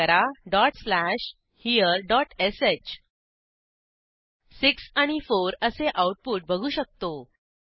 type करा dot slash हेरे dot श 6 आणि 4 असे आऊटपुट बघू शकतो